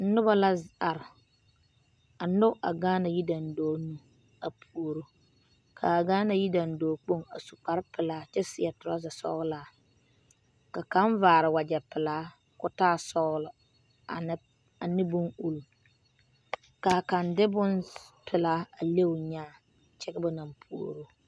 Noba la are a nyɔge a Gaana yidandɔɔ nu a puoro k,a Gaana yidandɔɔ kpoŋ a su kparepelaa kyɛ seɛ torɔza sɔglaa ka kaŋ vaare wagyɛ pelaa ka o taa sɔglɔ ane ane bonuli ka kaŋ de bonpelaa a me o nyaa kyɛ ka ba naŋ puoro.